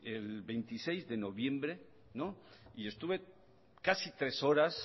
el veintiséis de noviembre y estuve casi tres horas